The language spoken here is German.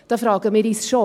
Da fragen wir uns schon: